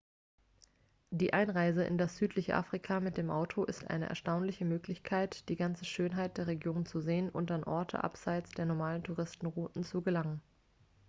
die einreise in das südliche afrika mit dem auto ist eine erstaunliche möglichkeit die ganze schönheit der region zu sehen und an orte abseits der normalen touristenrouten zu gelangen